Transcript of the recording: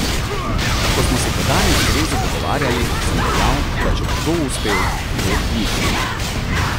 Ko smo se tedaj na zvezi pogovarjali, sem dejal, da če bo kdo uspel, bo to Mitja.